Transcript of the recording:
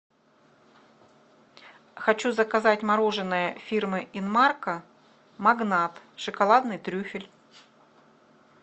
хочу заказать мороженое фирмы инмарко магнат шоколадный трюфель